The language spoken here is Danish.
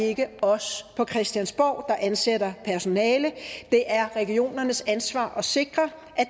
ikke os på christiansborg der ansætter personale det er regionernes ansvar at sikre at